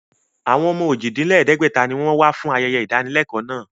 Àwọn ọmọ ojì-dín-lẹ̀ẹ́dẹ́gbẹ̀ta ni wọn fún ayẹyẹ ìdánilẹ́kọ̀ọ́ náà